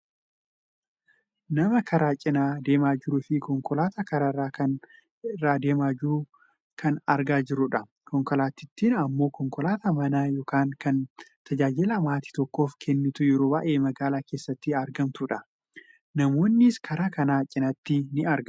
Nama karaa cinaa deemaa jiruufi konkolaataa karaaa kana irra deemaa jirtukan argaa jirrudha. Konkolaatittiin ammoo konkolaataa mana yookaan kan tajaajila maatii tokkoof kennitu yeroo baayyee magaalaa keessatti argamtudha. Namoonnis karaa kana cinatti ni argamu.